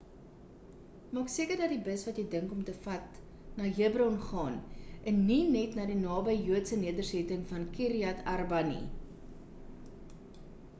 maak seker dat die bus wat jy dink om te vat gaan na hebron en nie net na die naby joodse nedersetting van kiryat arba